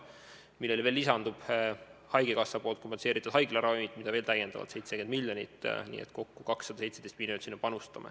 Sellele lisandub haigekassapoolne haiglaravimite kompensatsioon, mida on veel 70 miljoni ulatuses, nii et kokku panustame 217 miljonit.